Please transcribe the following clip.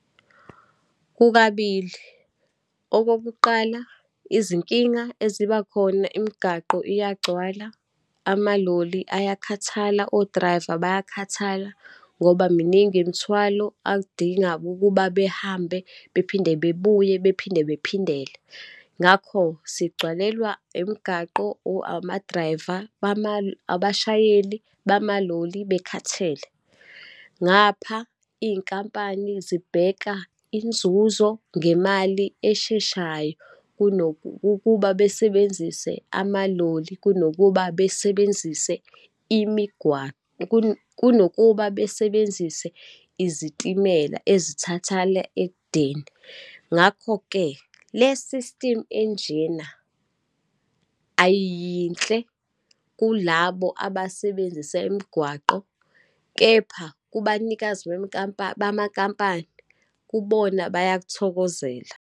Kukabili. Okokuqala, izinkinga eziba khona, imigaqo iyagcwala, amaloli ayakhathala, o-driver bayakhathala ngoba miningi imithwalo adinga ukuba behambe, bephinde bebuye, bephinde bephindele. Ngakho sigcwalelwa imgaqo, ama-driver , abashayeli bamaloli bekhathele. Ngapha iy'nkampani zibheka inzuzo ngemali esheshayo ukuba besebenzise amaloli kunokuba besebenzise kunokuba besebenzise izitimela ezithathala ekudeni. Ngakho-ke, le sistimu enjena ayiyinhle kulabo abasebenzisa imigwaqo, kepha kubanikazi bamakhampani kubona bayakuthokozela.